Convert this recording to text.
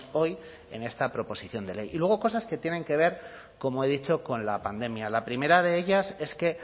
hoy en esta proposición de ley y luego cosas que tienen que ver como he dicho con la pandemia la primera de ellas es que